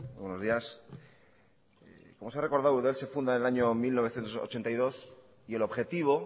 buenos días como se ha recordado eudel se funda en el año mil novecientos ochenta y dos y el objetivo